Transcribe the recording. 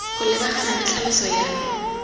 go lebagana le tlhaloso ya